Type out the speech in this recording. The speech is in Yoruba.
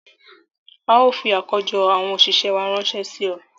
Ào fi àkójọ àwọn òṣìṣẹ́ wá ránṣẹ́ sí ọ